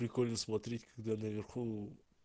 прикольно смотреть когда наверху